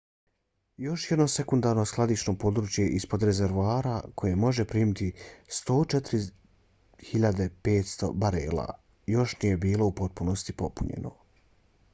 još jedno sekundarno skladišno područje ispod rezervoara koje može primiti 104.500 barela još nije bilo u potpunosti popunjeno